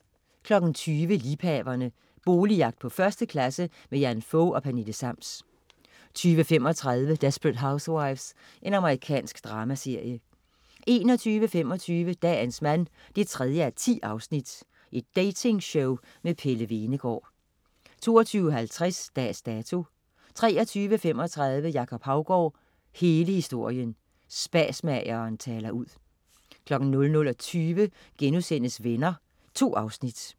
20.00 Liebhaverne. Boligjagt på 1. klasse. Jan Fog og Pernille Sams 20.35 Desperate Housewives. Amerikansk dramaserie 21.25 Dagens mand 3:10. Dating-show med Pelle Hvenegaard 22.50 Dags Dato 23.35 Jacob Haugaard, hele historien. Spasmageren taler ud 00.20 Venner.* 2 afsnit